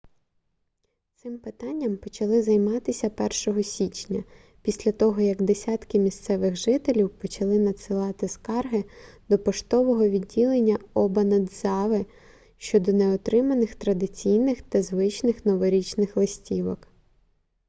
цим питанням почали займатися 1-го січня після того як десятки місцевих жителів почали надсилати скарги до поштового відділення обанадзави щодо неотриманих традиційних та звичних новорічних листівок